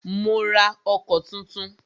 Mó rá ọkọ̀ túntún.